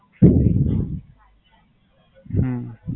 હમ